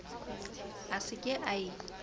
a se ke a e